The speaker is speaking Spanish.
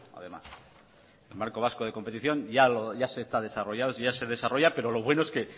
además el marco vasco de competición ya se está desarrollando ya se desarrolla pero lo bueno es que